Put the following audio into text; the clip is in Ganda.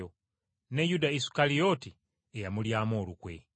ne Yuda Isukalyoti eyamulyamu olukwe.